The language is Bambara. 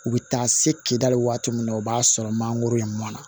U bɛ taa se kedali waati min na o b'a sɔrɔ mangoro in mɔna